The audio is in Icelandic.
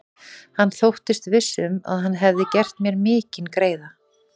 Hann þóttist viss um, að hann hefði gert mér mikinn greiða.